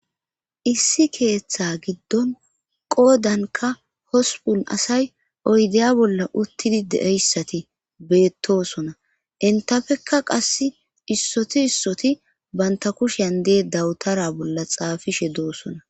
Issi keeththa giddon qoodanka hospun asay oydeya bolla uttidi deeyssati bettosona intafekka qass issoti issoti banta kushian dee dawutara bolla xaafishe doosona.